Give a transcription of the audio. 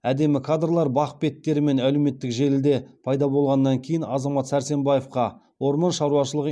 әдемі кадрлар бақ беттері мен әлеуметтік желіде пайда болғаннан кейін азамат сәрсенбаевқа орман шаруашылығы